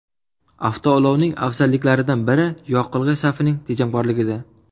Avtoulovning afzalliklaridan biri yoqilg‘i sarfining tejamkorligida.